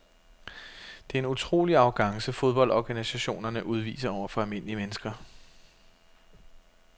Det er en utrolig arrogance fodboldorganisationerne udviser over for almindelige mennesker.